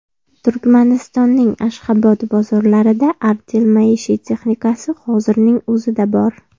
Turkmanistonning Ashxobod bozorlarida Artel maishiy texnikasi hozirning o‘zida bor.